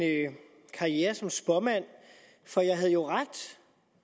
karriere som spåmand for jeg havde jo ret